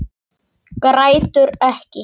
Grætur ekki.